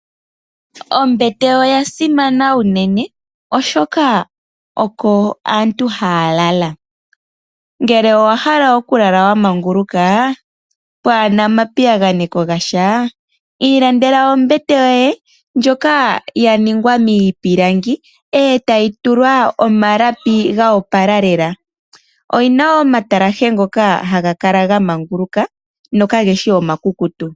Ombete oyasimana uunene oshoka oko aantu haya lala. Ngele owahala okulala wamanguluka pwaana omapiyagano gasha ilandela ombete yoye ndjoka yaningwa miipilangi etayi tulwa omalapi go opala lela. Oyina woo omatalashe ngoka haga kala gamanguluka nokageshi omakukutu.